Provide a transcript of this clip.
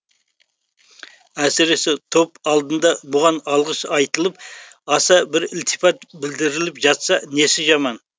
әсіресе топ алдында бұған алғыс айтылып аса бір ілтипат білдіріліп жатса несі жаман